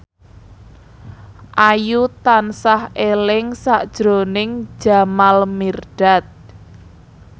Ayu tansah eling sakjroning Jamal Mirdad